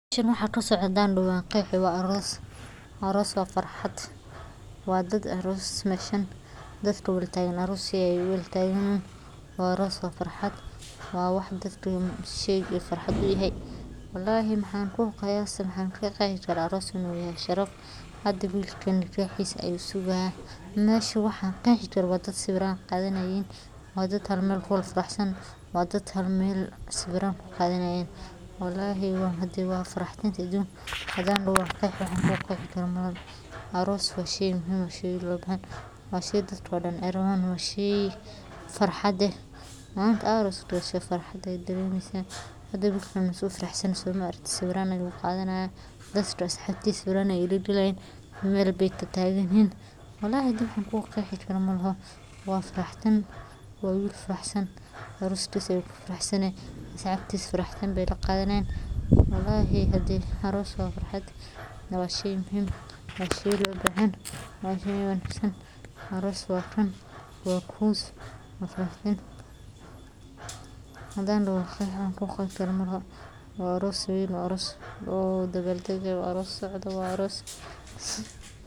Meeshan waxa kasocdan waqic wa aroos. Aroos wa farxaad waa daad aroos meshan daadka walatagan aroos ay uwalataganyihiin arooska wa farxad wa waax daadka shay u farxaad u yahay waalahi waxan ku qayasi aroos inu yahay sharaf hada wilkaan nakahisa ayu sugaya mesha waaxan qeh karo waa daad sawiran qadhanayin waa daad halmeel kufaraxsan wa daad halmeel sawiraan ku qadhanayin wallahi hadee wa farxada adunka hadan daha waan qeexi waxan ku qexi karo malaha. Arooska wa shay muhiim eeh wa shay daadkodan ee rawan wa shay farxad eeh malinta aad arosato aa farxadas daremeysa hada dadkan say u faraxsanyihiin so maraktit? sawiraan ayey qadhanayan daadka asaxabtisa sawiran ayey lagalayan meelbay tataganyihiin wallahi daadan ku qeexi karo maalaho waa dad faraxsan wa will faraxsan arooskisa u ku faraxsanayahy asaxabtisa farxad bay laqadhanayan wallahi hade aroos wa farxaad wa shay muhiim wa shay loo bahanyahay wa shay wanagsan hadan daho wa qiyas waxan ku qiyas kaar malaho wa aroos weyn wa aroos dabaldag wa aroos socod eeh.